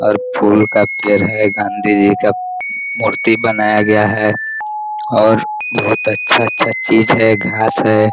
और फूल का पेड़ है गाँधी जी का मूर्ती बनाया गया है और बहुत अच्छा अच्छा चीज है घास है।